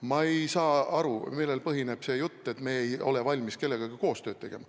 Ma ei saa aru, millel põhineb see jutt, et me ei ole valmis kellegagi koostööd tegema.